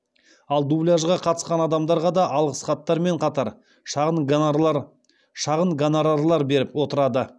ал дубляжға қатысқан адамдарға да алғыс хаттар мен қатар шағын гонорарлар беріліп отырады